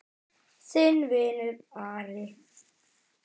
Þinn vinur, Ari.